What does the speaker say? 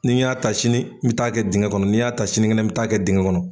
Ni n y'a ta sini, n mi taa kɛ dingɛ kɔnɔ, n'i y'a ta sini gɛnɛ n mi taa kɛ dingɛ kɔnɔ.